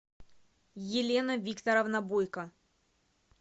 елена викторовна бойко